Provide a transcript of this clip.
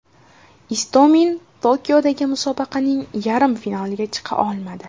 Istomin Tokiodagi musobaqaning yarim finaliga chiqa olmadi.